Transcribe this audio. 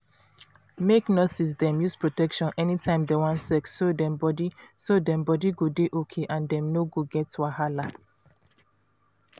make nurses dem use protection anytime dem wan sex so dem body so dem body go dey okay and dem no go get wahala.